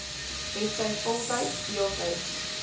hetsy voltyds deeltyds